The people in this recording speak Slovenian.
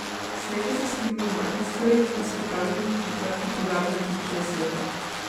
Sreča se skriva v majhnih stvareh in spontanih odločitvah, ki privabijo na tisoče nasmehov.